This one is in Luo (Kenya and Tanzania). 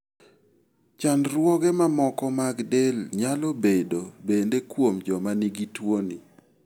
Chandruoge mamoko mag del nyalo bedo bende kuom joma nigi tuoni.